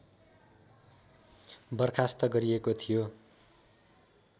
बर्खास्त गरिएको थियो